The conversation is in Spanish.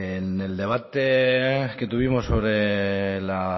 en el debate que tuvimos sobre la